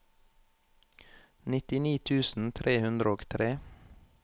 nittini tusen tre hundre og tre